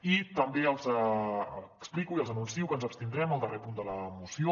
i també els explico i els anuncio que ens abstindrem al darrer punt de la moció